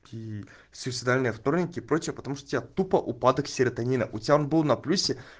суицидальный вторник и прочее потому что тебя тупо упадок серотонина у тебя был на плюсе